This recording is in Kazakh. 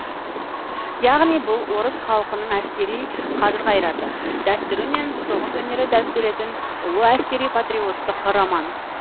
яғни бұл орыс халқының әскери қажыр қайраты дәстүрі мен соғыс өнері дәріптелетін ұлы әскери патриоттық роман